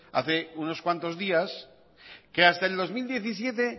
hace unos cuantos días que hasta el dos mil diecisiete